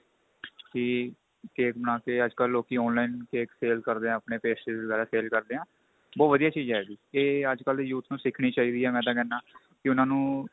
ਕੀ cake ਬਣਾ ਕੇ ਅੱਜਕਲ ਲੋਕੀ online cake sale ਕਰਦੇ ਆ ਆਪਣੇ pastries ਵਗੈਰਾ sale ਕਰਦੇ ਆ ਬਹੁਤ ਵਧੀਆ ਚੀਜ ਏ ਇਹ ਅੱਜਕਲ ਦੇ youth ਨੂੰ ਸਿਖਣੀ ਚਾਹੀਦੀ ਏ ਮੈਂ ਤਾਂ ਕਹਿਨਾ ਕੀ ਉਹਨਾ ਨੂੰ